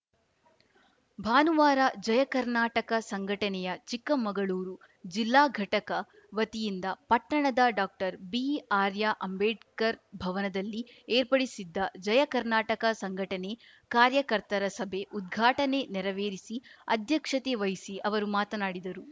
ಭಾನುವಾರ ಜಯಕರ್ನಾಟಕ ಸಂಘಟನೆಯ ಚಿಕ್ಕಮಗಳೂರು ಜಿಲ್ಲಾ ಘಟಕ ವತಿಯಿಂದ ಪಟ್ಟಣದ ಡಾಕ್ಟರ್ ಬಿಆರ್ಯಾ ಅಂಬೇಡ್ಕರ್‌ ಭವನದಲ್ಲಿ ಏರ್ಪಡಿಸಿದ್ದ ಜಯಕರ್ನಾಟಕ ಸಂಘಟನೆ ಕಾರ್ಯಕರ್ತರ ಸಭೆ ಉದ್ಘಾಟನೆ ನೆರವೇರಿಸಿ ಅಧ್ಯಕ್ಷತೆ ವಹಿಸಿ ಅವರು ಮಾತನಾಡಿದರು